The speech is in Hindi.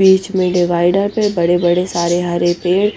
बिच में डिवाइडर पे बड़े बड़े सरे हरे पैर